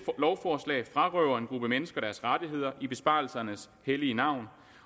lovforslag frarøver en gruppe mennesker deres rettigheder i besparelsernes hellige navn